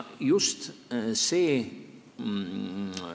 Just see.